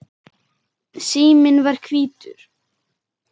Síminn var hvítur.